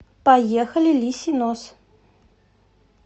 поехали лисий нос